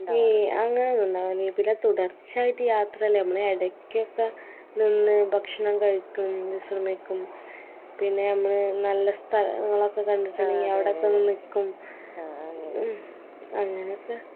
ഏയ് അങ്ങനെ ഒന്നുണ്ടാവല്ല പിന്നെ തുടർച്ചായിട്ട് യാത്രല്ലെ മ്മള് എടക്കൊക്കെ നിന്ന് ഭക്ഷണം കഴിക്കും വിഷ്രമിക്കും പിന്നെ ഞമ്മള് നല്ല സ്ഥലങ്ങളൊക്കെ കണ്ടിട്ടാണെങ്കി അവിടെ പോയി നിക്കും ഉം അങ്ങനക്കെ